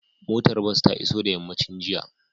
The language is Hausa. Motar bas ta iso da yammacin jiya